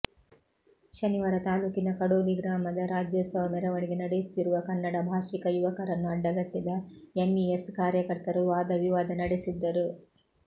ಶನಿವಾರ ತಾಲೂಕಿನ ಕಡೋಲಿ ಗ್ರಾಮದಲ್ಲಿ ರಾಜ್ಯೋತ್ಸವ ಮೆರವಣಿಗೆ ನಡೆಸುತ್ತಿರುವ ಕನ್ನಡ ಭಾಷಿಕ ಯುವಕರನ್ನು ಅಡ್ಡಗಟ್ಟಿದ ಎಂಇಎಸ್ ಕಾರ್ಯಕರ್ತರು ವಾದವಿವಾದ ನಡೆಸಿದ್ದರು